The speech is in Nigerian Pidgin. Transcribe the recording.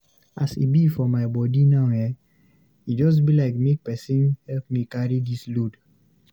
As e be for my body now eh, e just be like make pesin help me carry dis load.